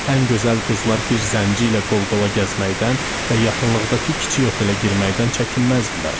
Ən gözəl qızlar bir zənci ilə qol-qola gəzməkdən və yaxınlıqdakı kiçik otelə girməkdən çəkinməzdilər.